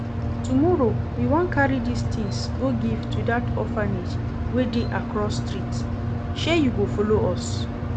Tomorrow we wan carry dis things go give to that orphanage wey dey across street, shey you go follow us?